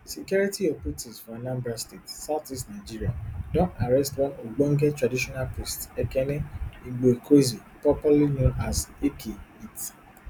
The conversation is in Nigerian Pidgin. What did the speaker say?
security operatives for anambra state southeast nigeria don arrest one ogbonge traditional priest ekene igboekweze popularly known as eke hit